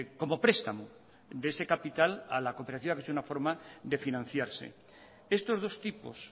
como prestamo de ese capital a la cooperativa que es una forma de financiarse estos dos tipos